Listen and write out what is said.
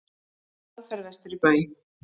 Á hraðferð vestur í bæ.